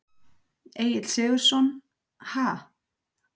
Egill Sigurðsson: Ha?